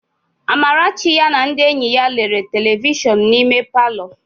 Amarachi ya na ndị enyi ya lere telivishọn n'ime palọ.